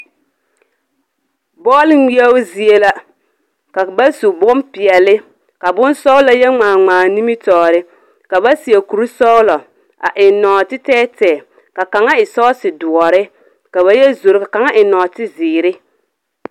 Bͻle ŋmeԑbo zie la ka bas u bompeԑle, ka bons4gelͻ yԑ ŋmaa ŋmaa a nimitͻͻre. ka seԑ kurisͻgelͻ a eŋ nͻͻte tԑԑtԑԑ, ka kaŋa eŋ sͻͻse dõͻre ka ba yԑ zoro. Ka kaŋa eŋ nͻͻte zeere.